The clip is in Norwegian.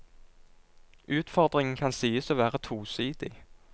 Utfordringen kan sies å være tosidig.